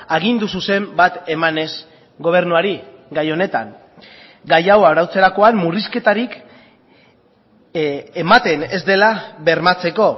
agindu zuzen bat emanez gobernuari gai honetan gai hau arautzerakoan murrizketarik ematen ez dela bermatzeko